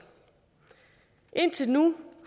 indtil nu